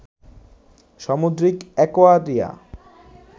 সামুদ্রিক অ্যাকোয়ারিয়া